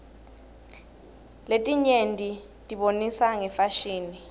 letinyetibonisa ngefasihni